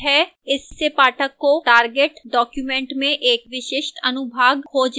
इससे पाठक को target document में एक विशिष्ट अनुभाग खोजने में मदद मिलेगी